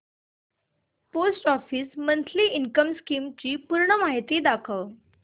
post office monthly income scheme ची पूर्ण माहिती दाखव